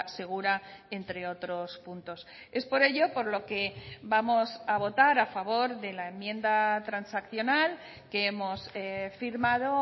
segura entre otros puntos es por ello por lo que vamos a votar a favor de la enmienda transaccional que hemos firmado